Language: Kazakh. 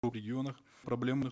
регионах проблемных